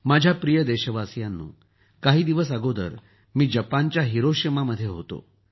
माझ्या प्रिय देशवासियांनो काही दिवस अगोदर मी जपानच्या हिरोशिमामध्ये होतो